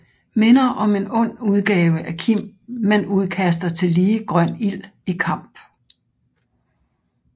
Minder om en ond udgave af Kim men udkaster tillige grøn ild i kamp